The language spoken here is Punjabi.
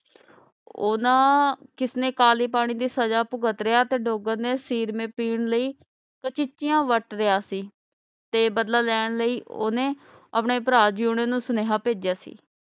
ਉਹਨਾਂ ਕਿਸਨੇ ਕਾਲੀ ਪਾਣੀ ਦੀ ਸਜਾ ਭੁਗਤ ਰਿਹਾ ਤੇ ਡੋਗਰ ਨੇ ਸੀਰ ਮੇਂ ਪੀਣ ਲਈ ਵਰਤ ਰਿਹਾ ਸੀ ਤੇ ਬਦਲਾ ਲੈਣ ਲਈ ਓਹਨੇ ਆਪਣੇ ਭਰਾ ਜਿਯੋਨ ਨੂੰ ਸੁਨੇਹਾ ਭੇਜਿਆ ਸੀ।